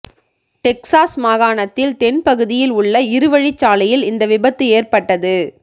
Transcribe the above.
Texas மாகாணத்தில் தென் பகுதியில் உள்ள இரு வழிச்சாலையில் இந்த விபத்து எற்பட்டது